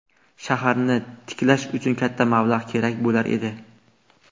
Shaharni tiklash uchun katta mablag‘ kerak bo‘lar edi.